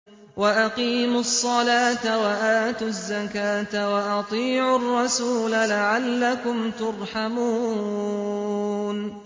وَأَقِيمُوا الصَّلَاةَ وَآتُوا الزَّكَاةَ وَأَطِيعُوا الرَّسُولَ لَعَلَّكُمْ تُرْحَمُونَ